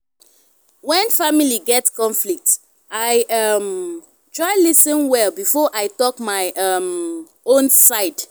when family get conflict i um try lis ten well before i talk my um own side.